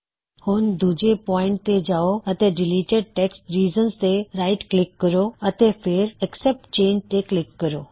ਹੁਣ ਦੂਜੇ ਪੌਇਨਟ ਤੇ ਜਾਉ ਅਤੇ ਡਿਲੀਟਿਡ ਟੈੱਕਸਟ ਰੀਜ਼ਨ ਤੇ ਰਾਇਟ ਕਲਿੱਕ ਕਰੋ ਅਤੇ ਫੇਰ ਅਕਸੈੱਪਟ ਚੇਨਂਜ਼ ਤੇ ਕਲਿਕ ਕਰੋ